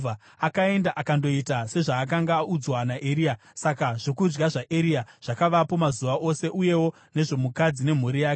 Akaenda akandoita sezvaakanga audzwa naEria. Saka zvokudya zvaEria zvakavapo mazuva ose uyewo nezvomukadzi nemhuri yake.